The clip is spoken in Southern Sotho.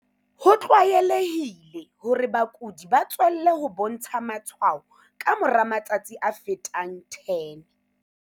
Ho tlwaelehile hore bakudi ba tswelle ho bontsha matshwao ka mora matsatsi a fetang 10.